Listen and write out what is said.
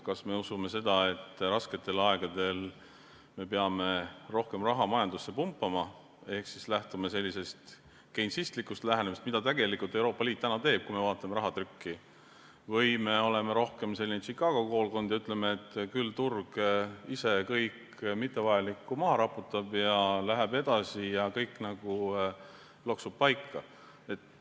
Kas me usume seda, et rasketel aegadel me peame rohkem raha majandusse pumpama ehk lähtume keinsistlikust lähenemisest, mida tegelikult Euroopa Liit täna teeb, kui me vaatame rahatrükki, või me oleme rohkem selline Chicago koolkond ja ütleme, et küll turg ise kõik mittevajaliku maha raputab, läheb edasi ja kõik loksub paika?